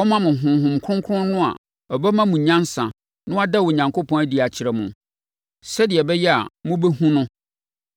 ɔmma mo Honhom Kronkron no a ɔbɛma mo nyansa na wada Onyankopɔn adi akyerɛ mo, sɛdeɛ ɛbɛyɛ a mobɛhunu no.